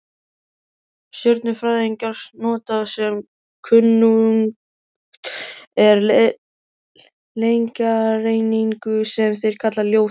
Stjörnufræðingar nota sem kunnugt er lengdareiningu, sem þeir kalla ljósár.